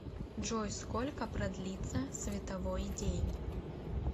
джой сколько продлится световой день